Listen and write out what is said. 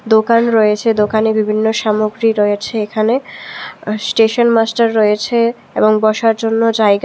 দোকান রয়েছে দোকানে বিভিন্ন সামগ্রী রয়েছে এখানে স্টেশন মাস্টার রয়েছে এবং বসার জন্য জায়গা--